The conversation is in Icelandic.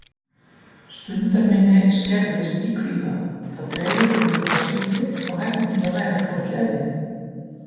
Stundarminni skerðist í kvíða, það dregur úr viðbragðsflýti og hæfni til að læra flókið efni.